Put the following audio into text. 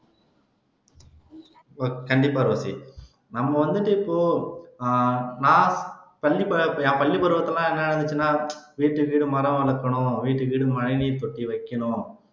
கண்டிப்பா ரோஸி நம்ம வந்துட்டு இப்போ நான் பள்ளிப் பள்ளிப்பருவத்தில என்ன இருந்துச்சுனா வீட்டுக்கு வீடு மரம் வளர்க்கணும் வீட்டுக்கு வீடு மழைநீர் தொட்டி வைக்கணும்